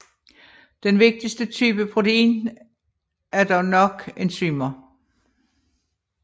Den vigtigste type protein er dog nok enzymer